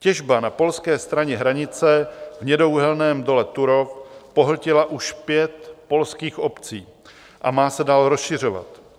Těžba na polské straně hranice v hnědouhelném dole Turów pohltila už pět polských obcí a má se dál rozšiřovat.